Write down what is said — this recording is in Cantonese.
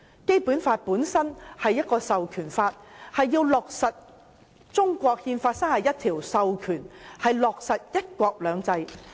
《基本法》本身是一項授權法，為要落實《中華人民共和國憲法》第三十一條，授權香港落實"一國兩制"。